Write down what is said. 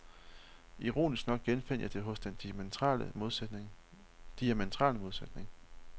Ironisk nok genfandt jeg det hos den diamentrale modsætning.